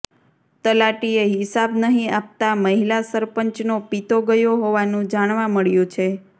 તલાટીએ હિસાબ નહીં આપતા મહિલા સરપંચનો પિત્તો ગયો હોવાનું જાણવા મળ્યું છે